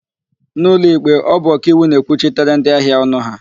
N'ụlọikpe, ọ bụ ọkaiwu na-ekwuchitere ndịahịa ọnụ ha.